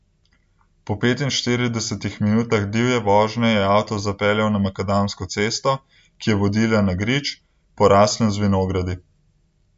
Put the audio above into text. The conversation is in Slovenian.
Po petinštiridesetih minutah divje vožnje je avto zapeljal na makadamsko cesto, ki je vodila na grič, poraslem z vinogradi.